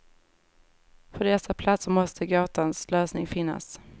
På dessa platser måste gåtans lösning finnas.